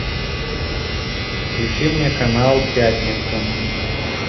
включи мне канал пятница